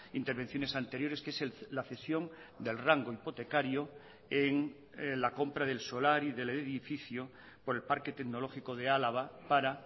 intervenciones anteriores que es la cesión del rango hipotecario en la compra del solar y del edificio por el parque tecnológico de álava para